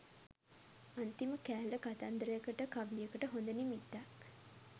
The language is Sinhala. අන්තිම කෑල්ල කතන්දරයකට කවියකට හොඳ නිමිත්තක්